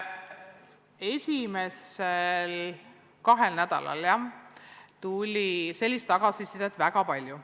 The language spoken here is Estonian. Esimesel kahel nädalal tuli sellist tagasisidet väga palju.